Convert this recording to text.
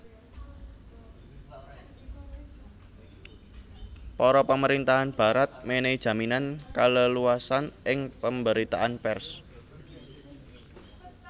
Para pamerintahan Barat menehi jaminan kaleluasan ing pemberitaan pers